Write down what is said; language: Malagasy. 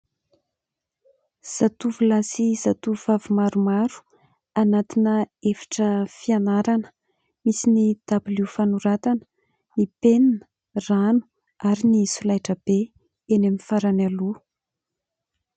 Zatovolahy sy zatovovavy maromaro anatina efitra fianarana, misy ny dabilio fanoratana, ny penina, rano ary ny solaitrabe eny amin'ny farany aloha.